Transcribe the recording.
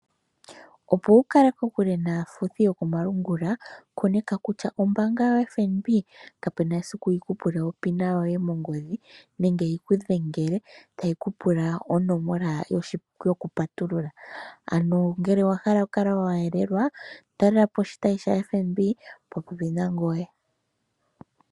Opo wukale kokule naafuthi yokomalungula koneka kutya ombaanga yo FNB kapena esiku yikupule onomola yoye yongodhe nenge yi ku dhengele tayi kupula onomola yoku patulula ano ngele owahala okukala wa yelelwa talelapo oshitayi sha FNB shopo pepi nangoye.